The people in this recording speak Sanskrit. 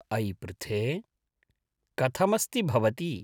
अयि पृथे! कथमस्ति भवती ?